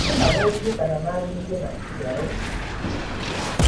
No mathũkie kana maagĩrie maciaro